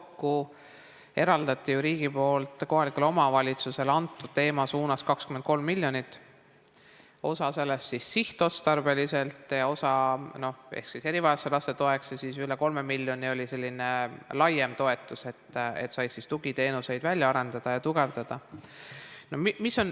Kokku eraldati ju riigilt kohalikule omavalitsusele antud teemal 23 miljonit, osa sellest sihtotstarbeliselt, osa erivajadustega laste toeks ja üle 3 miljoni oli selline laiem toetus, sai tugiteenuseid välja arendada ja tugevdada.